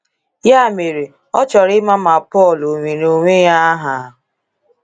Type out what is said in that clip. Ya mere, ọ chọrọ ịma ma Paul o were onwe ya aha.